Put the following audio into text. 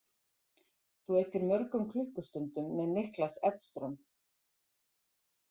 Þú eyddir mörgum klukkustundum með Niklas Edström.